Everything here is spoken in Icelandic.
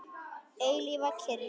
Eilífa kyrrð.